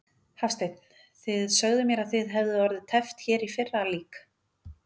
Hafsteinn: Þið sögðuð mér að þið hefðuð orðið teppt hér í fyrra lík?